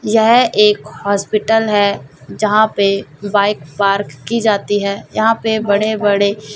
यह एक हॉस्पिटल है जहां पे बाइक पार्क की जाती है यहां पे बड़े बड़े--